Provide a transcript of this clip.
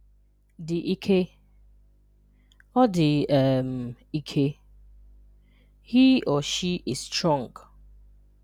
Dị ike – “Ọ dị um ike.” (He/she is strong.)